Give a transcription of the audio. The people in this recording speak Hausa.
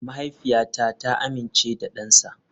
Mahaifiyata ta amince da dansa.